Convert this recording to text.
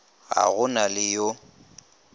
ga go na le yo